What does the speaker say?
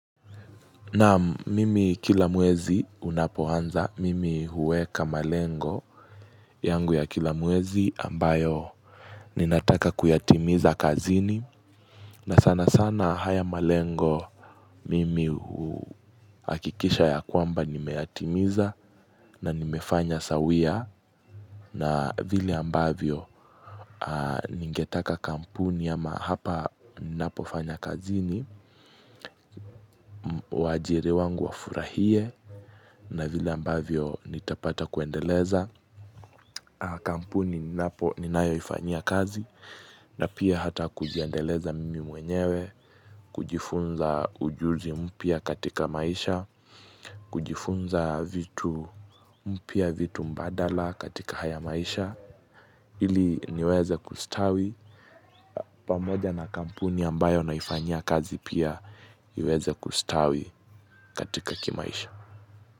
Naam mimi kila mwezi unapo anza mimi huweka malengo yangu ya kila mwezi ambayo ninataka kuyatimiza kazini na sana sana haya malengo mimi huhakikisha ya kwamba nimeyatimiza na nimefanya sawia na vile ambavyo ningetaka kampuni ama hapa ninapofanya kazini wajiri wangu wafurahie na vile ambavyo nitapata kuendeleza kampuni ni napo ninayo ifanyia kazi na pia hata kuziendeleza mimi mwenyewe kujifunza ujuzi mpia katika maisha kujifunza vitu mpya vitu mbadala katika haya maisha ili niweze kustawi pamoja na kampuni ambayo naifanyia kazi pia iweze kustawi katika kimaisha.